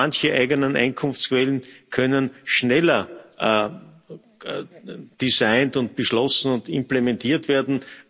Manche eigenen Einnahmequellen können schneller designt und beschlossen und implementiert werden.